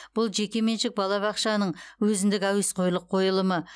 бұл жекеменшік балабақшаның өзіндік әуесқойлық қойылымы